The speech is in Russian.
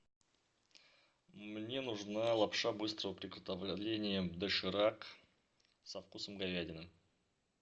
мне нужна лапша быстрого приготовления доширак со вкусом говядины